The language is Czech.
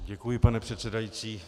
Děkuji, pane předsedající.